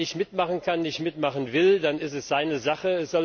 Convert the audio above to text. Wenn ein Land nicht mitmachen kann, nicht mitmachen will, dann ist es seine Sache